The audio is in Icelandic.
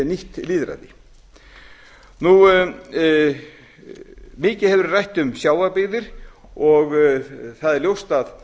nýtt lýðræði mikið hefur verið rætt um sjávarbyggðir og það er ljóst að